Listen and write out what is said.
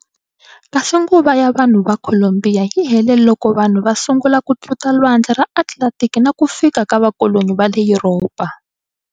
Kasi nguva ya vanhu va Kholombiya yi hele loko vanhu va sungula ku tluta lwandle ra Atlanthiki na ku fika ka vakolonyi va le Yuropa.